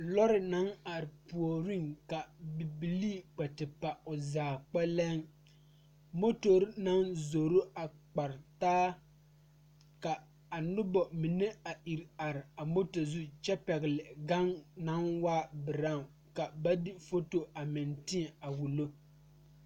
Lɔre la are pegle sokoɔraa a zage zage o zaa kyɛ ka vūū kpimɛ meŋ are a be vūū kpimɛ vɔgle zupele doɔre kyɛ kaa vūū kpine lɔre are sokoɔraa zu kyɛ ka noba meŋ are a kaare.